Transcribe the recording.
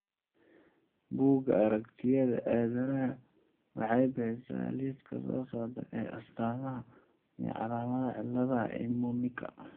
Bugga Aragtiyaha Aadanaha waxay bixisaa liiska soo socda ee astaamaha iyo calaamadaha cillada Emanuka.